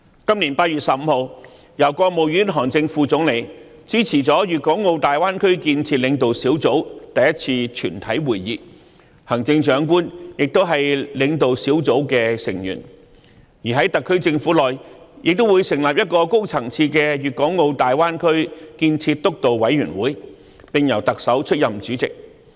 今年8月15日，國務院副總理韓正主持了粵港澳大灣區建設領導小組首次全體會議，行政長官亦是該領導小組的成員；而在特區政府內，亦會成立一個高層次的粵港澳大灣區建設督導委員會，並由特首出任主席。